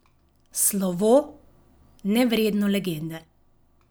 Slovo, nevredno legende!